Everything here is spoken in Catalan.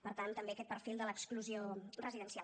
per tant també aquest perfil de l’exclusió residencial